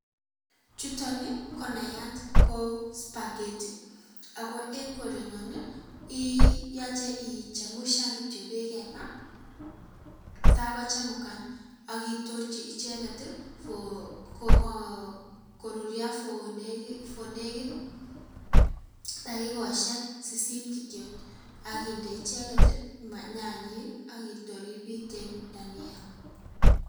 Chutoni ko nayat ko spaghetti ako eng korenyon, ii yache ichemusyan kityok beek eng ma, tako chemukan akitorchi icheket koruryo, for nekit ,dakikosyek sisit kityok akinde icheket nyanyek akitor ibiten dhania.